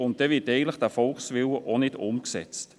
Dann wird der Volkswille eigentlich auch nicht umgesetzt.